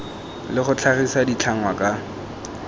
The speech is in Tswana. le go tlhagisa ditlhangwa ka